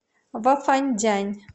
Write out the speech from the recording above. вафандянь